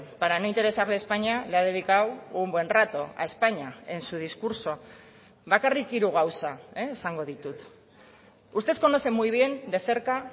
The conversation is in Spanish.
para no interesarle españa le ha dedicado un buen rato a españa en su discurso bakarrik hiru gauza esango ditut usted conoce muy bien de cerca